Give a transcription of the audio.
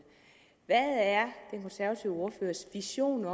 hvad er den konservative ordførers vision